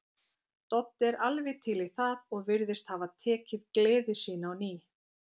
Doddi er alveg til í það og virðist hafa tekið gleði sína á ný.